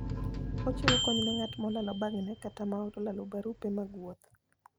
Ochiwo kony ne ng'at molalo bagne kata ma olalo barupe mag wuoth.